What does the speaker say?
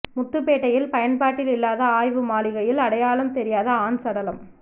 முத்துப்பேட்டையில் பயன்பாட்டில் இல்லாத ஆய்வு மாளிகையில் அடையாளம் தெரியாத ஆண் சடலம்